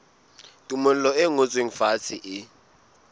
tumello e ngotsweng fatshe e